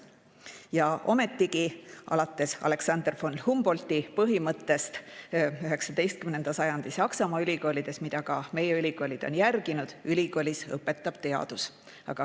Ja ometigi on alates 19. sajandist Saksamaa, aga ka meie ülikoolides järgitud Alexander von Humboldti põhimõtet, et ülikoolis õpetab teadus.